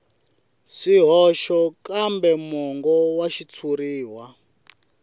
swihoxo kambe mongo wa xitshuriwa